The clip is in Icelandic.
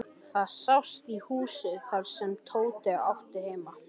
Það sást í húsið þar sem Tóti átti heima.